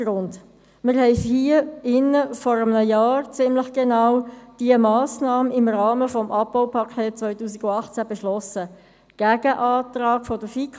Wir haben diese Massnahme vor ziemlich genau einem Jahr hier im Saal im Rahmen des Abbaupakets 2018 beschlossen, und zwar notabene gegen den Antrag der FiKo.